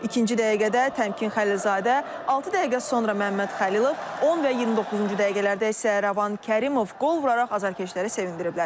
İkinci dəqiqədə Təmkin Xəlilzadə, altı dəqiqə sonra Məmməd Xəlilov, 10 və 29-cu dəqiqələrdə isə Rəvan Kərimov qol vuraraq azarkeşləri sevindiriblər.